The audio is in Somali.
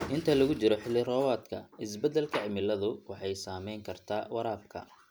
Inta lagu jiro xilli-roobaadka, isbeddelka cimiladu waxay saameyn kartaa waraabka.